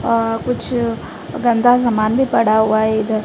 अ कुछ गंदा सामान भी पड़ा हुआ है इधर--